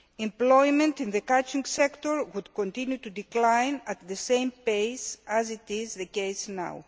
Employment in the catching sector would continue to decline at the same pace as is the case now